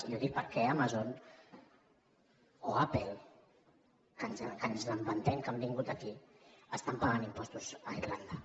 i ho dic perquè amazon o apple que ens vantem que han vingut aquí estan pagant impostos a irlanda